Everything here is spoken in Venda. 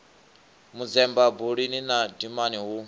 manzemba buluni na dimani hu